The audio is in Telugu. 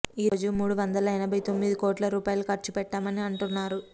ఈ రోజు మూడు వందల యనబై తొమ్మిది కోట్ల రూపాయిలు ఖర్చుపెట్టామని అంటున్నారు